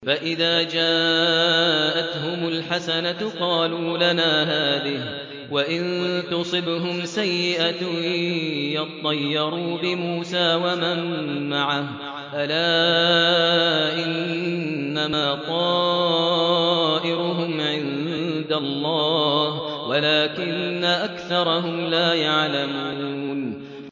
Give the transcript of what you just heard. فَإِذَا جَاءَتْهُمُ الْحَسَنَةُ قَالُوا لَنَا هَٰذِهِ ۖ وَإِن تُصِبْهُمْ سَيِّئَةٌ يَطَّيَّرُوا بِمُوسَىٰ وَمَن مَّعَهُ ۗ أَلَا إِنَّمَا طَائِرُهُمْ عِندَ اللَّهِ وَلَٰكِنَّ أَكْثَرَهُمْ لَا يَعْلَمُونَ